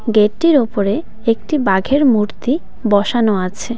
Gate -টির ওপরে একটি বাঘের মূর্তি বসানো আছে।